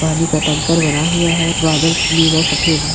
पानी का टैंकर भरा हुआ है बादल नीला सफ़ेद है।